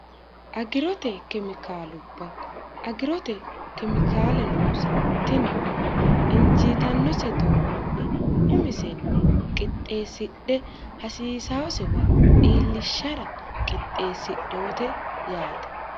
agirote kemikaalubba agirote kemikaale noosi tinino injiitannose doogonni umisenni qixxeessidhe hasiisaosewa iillishshara qixxeessidhete yaate